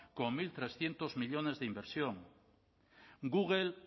con mil trescientos millónes de inversión google